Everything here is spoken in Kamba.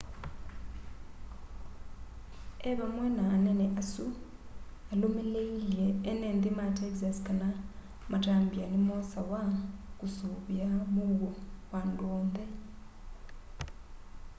e vamwe na anene asu alũmĩlĩilye enenthĩ ma texas kana matambya nĩmosawa kũsũĩvĩa mũuo wa andũ onthe